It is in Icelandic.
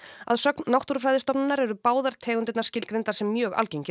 að sögn Náttúrufræðistofnunar eru báðar tegundirnar skilgreindar sem mjög algengir